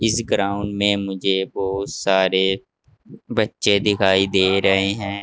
इस ग्राउंड में मुझे बहुत सारे बच्चे दिखाई दे रहे हैं।